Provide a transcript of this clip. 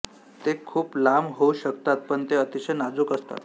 ते खूप लांब होऊ शकतात पण ते अतिशय नाजूक असतात